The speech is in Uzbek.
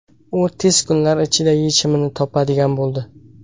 U tez kunlar ichida yechimini topadigan bo‘ldi.